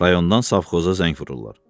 Rayondan savxoza zəng vururlar.